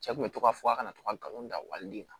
Cɛ kun be to ka fɔ a kana to ka galon da wali den kan